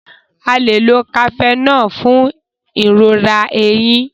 a lẹ ló Cafenol fún ìrora ẹhìn